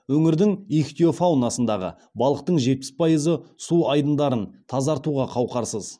өңірдің ихтиофаунасындағы балықтың жетпіс пайызы су айдындарын тазартуға қауқарсыз